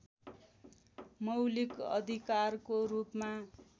मौलिक अधिकारको रूपमा